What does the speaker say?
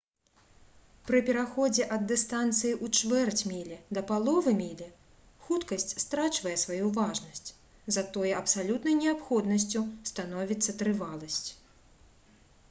пры пераходзе ад дыстанцыі ў чвэрць мілі да паловы мілі хуткасць страчвае сваю важнасць затое абсалютнай неабходнасцю становіцца трываласць